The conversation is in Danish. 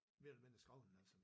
Mere eller mindre skrevet den altså